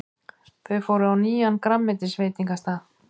Þau fóru á nýjan grænmetisveitingastað.